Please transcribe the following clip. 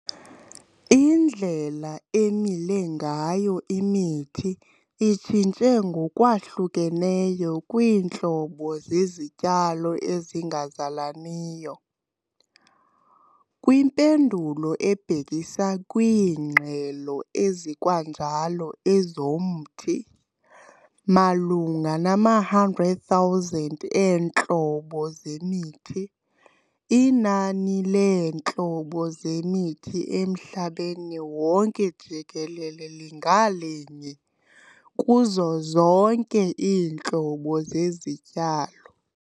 Indlela emile ngayo imithi itshintshe ngokwahlukeneyo kwintlobo zezityalo ezingazalaniyo, kwimpendulo ebhekisa kwiingxaki ezikwanjalo ezomthi. Malunga nama-100,000 eentlobo zemithi, inani leentlobo zemithi emhlabeni wonke jikelele linga linye kuzo zonke iintlobo zezityalo.